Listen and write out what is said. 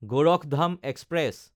Gorakhdham express